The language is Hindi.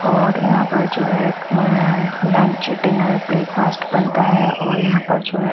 और यहां पर जो है में लंच डिनर ब्रेकफास्ट बनता है और यहां पर जो है--